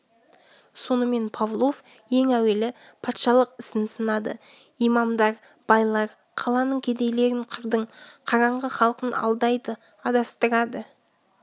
сонымен павлов ең әуелі патшалық ісін сынады имамдар байлар қаланың кедейлерін қырдың қараңғы халқын алдайды адастырады